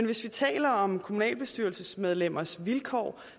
vi taler om kommunalbestyrelsesmedlemmers vilkår